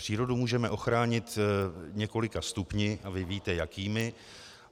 Přírodu můžeme ochránit několika stupni a vy víte jakými.